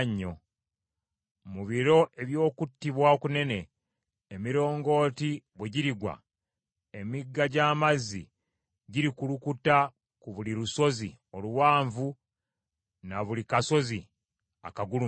Mu biro eby’okuttibwa okunene, emirongooti bwe girigwa, emigga gy’amazzi girikulukuta ku buli lusozi oluwanvu na ku buli kasozi akagulumivu.